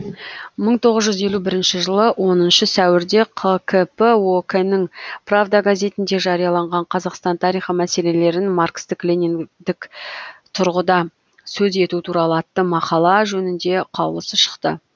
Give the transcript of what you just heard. мың тоғыз жүз елу бірінші жылы оныншы сәуірде қкп ок нің правда газетінде жарияланған қазақстан тарихы мәселелерін маркстік лениндік тұрғыдан сөз ету туралы атты мақала жөнінде қаулысы шықты